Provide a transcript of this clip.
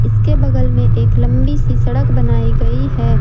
इसके बगल में एक लंबी सी सड़क बनाई गई है।